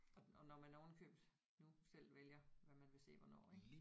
Og og når man oven i købet nu selv vælger hvad man vil se hvornår ik